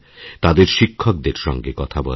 তাদের শিক্ষকদের সঙ্গে কথা বলার